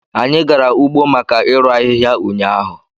Anyị gara ugbo maka irụ ahịhịa ụnyaahụ